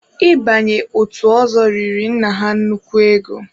Ị banye otu ọzọ riri nna ha nnukwu ego.